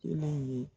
Kelen ye